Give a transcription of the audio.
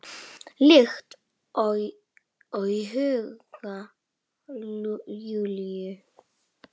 Líkt og í huga Júlíu.